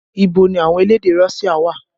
Ibo ni àwọn elédè Russia wà?